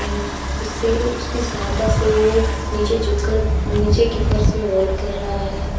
वे उसे उसकी सहायता से वो नीचे झुक कर नीचे के फर्श में होल कर रहा है।